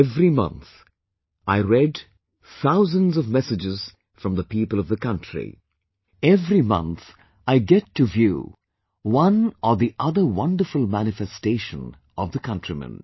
Every month I read thousands of messages from the people of the country, every month I get to view one or the other wonderful manifestation of the countrymen